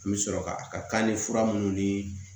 N bɛ sɔrɔ ka a ka ni fura minnu ni